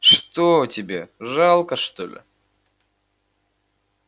что тебе жалко что ли